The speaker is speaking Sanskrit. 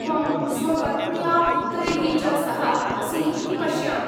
त्वं स्वपत्न्या, पुत्रैः च सह असि इति पश्यामि।